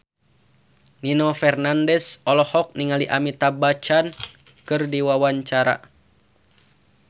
Nino Fernandez olohok ningali Amitabh Bachchan keur diwawancara